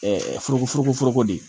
foroko furugufurugu de ye